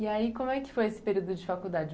E aí, como é que foi esse período de faculdade?